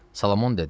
Solomon dedi: